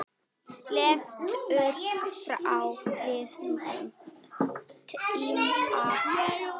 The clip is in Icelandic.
Leiftur frá liðnum tíma.